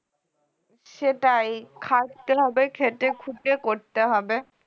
সেটাই খাটতে হবে খেটেখুটে করতে হবে